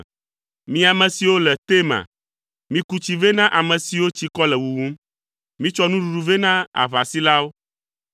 mi ame siwo le Tema, miku tsi vɛ na ame siwo tsikɔ le wuwum. Mitsɔ nuɖuɖu vɛ na aʋasilawo,